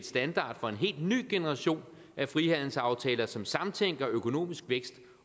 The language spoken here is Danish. standard for en helt ny generation af frihandelsaftaler som samtænker økonomisk vækst